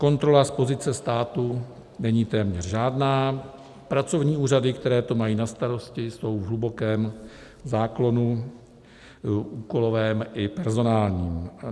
Kontrola z pozice státu není téměř žádná, pracovní úřady, které to mají na starosti, jsou v hlubokém záklonu úkolovém i personálním.